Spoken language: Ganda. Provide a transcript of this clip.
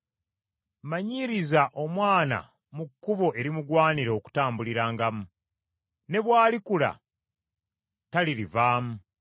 Manyiiriza omwana mu kkubo erimugwanira okutambulirangamu, ne bw’alikula talirivaamu.